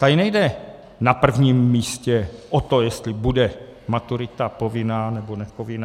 Tady nejde na prvním místě o to, jestli bude maturita povinná, nebo nepovinná.